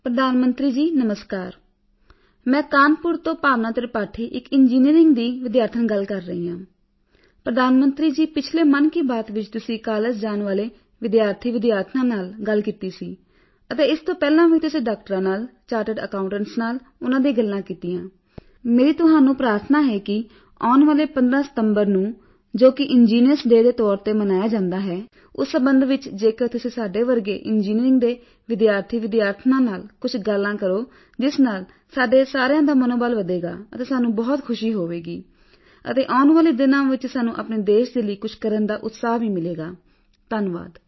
ਪ੍ਰਧਾਨ ਮੰਤਰੀ ਜੀ ਨਮਸਕਾਰ ਮੈਂ ਕਾਨਪੁਰ ਤੋਂ ਭਾਵਨਾ ਤ੍ਰਿਪਾਠੀ ਇੱਕ ਇੰਜੀਨੀਰਿੰਗ ਦੀ ਵਿਦਿਆਰਥਣ ਗੱਲ ਕਰ ਰਹੀ ਹਾਂ ਪ੍ਰਧਾਨ ਮੰਤਰੀ ਜੀ ਪਿਛਲੇ ਮਨ ਕੀ ਬਾਤ ਵਿੱਚ ਤੁਸੀਂ ਕਾਲਜ ਜਾਣ ਵਾਲੇ ਵਿਦਿਆਰਥੀਵਿਦਿਆਰਥਣਾਂ ਨਾਲ ਗੱਲ ਕੀਤੀ ਸੀ ਅਤੇ ਇਸ ਤੋਂ ਪਹਿਲਾਂ ਵੀ ਤੁਸੀਂ ਡਾਕਟਰਾਂ ਨਾਲ ਚਾਰਟੇਡ ਅਕਾਉਟੇਂਟਸ ਨਾਲ ਉਨ੍ਹਾਂ ਦੀਆਂ ਗੱਲਾਂ ਕੀਤੀਆਂ ਮੇਰੀ ਤੁਹਾਨੂੰ ਇੱਕ ਪ੍ਰਾਰਥਨਾ ਹੈ ਕਿ ਆਉਣ ਵਾਲੇ 15 ਸਿਤੰਬਰ ਨੂੰ ਜੋਕਿ ਇੱਕ ਇੰਜੀਨੀਅਰਜ਼ ਡੇਅ ਦੇ ਤੌਰ ਤੇ ਮਨਾਇਆ ਜਾਂਦਾ ਹੈ ਉਸ ਸੰਬੰਧ ਵਿੱਚ ਜੇਕਰ ਤੁਸੀਂ ਸਾਡੇ ਵਰਗੇ ਇੰਜੀਨੀਰਿੰਗ ਦੇ ਵਿਦਿਆਰਥੀਵਿਦਿਆਰਥਣਾਂ ਨਾਲ ਕੁਝ ਗੱਲਾਂ ਕਰੋ ਜਿਸ ਨਾਲ ਸਾਡੇ ਸਾਰਿਆਂ ਦਾ ਮਨੋਬਲ ਵਧੇਗਾ ਅਤੇ ਸਾਨੂੰ ਬਹੁਤ ਖੁਸ਼ੀ ਹੋਵੇਗੀ ਅਤੇ ਆਉਣ ਵਾਲੇ ਦਿਨਾਂ ਵਿੱਚ ਸਾਨੂੰ ਆਪਣੇ ਦੇਸ਼ ਦੇ ਲਈ ਕੁਝ ਕਰਨ ਦਾ ਉਤਸ਼ਾਹ ਵੀ ਮਿਲੇਗਾ ਧੰਨਵਾਦ